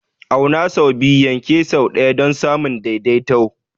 Auna sau biyu, yanke sau ɗaya don samun daidaito.